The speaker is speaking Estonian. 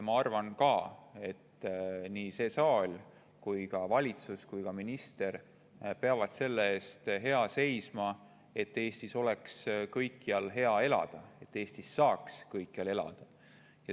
Ma arvan, et nii see saal kui ka valitsus ja minister peavad seisma hea selle eest, et Eestis oleks kõikjal hea elada, et Eestis saaks kõikjal elada.